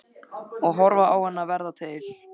Og horfa á hana verða til.